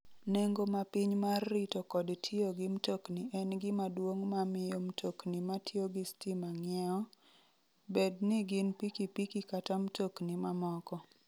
Nengo ma piny mar rito kod tiyo gi mtokni en gima duong' ma miyo mtokni ma tiyo gi stima ng'iewo, bed ni gin pikipiki kata mtokni mamoko.